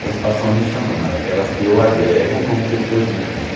elas passam a me chamar, aquelas que eu agrego como pessoas íntimas.